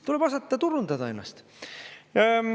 Tuleb osata turundada ennast.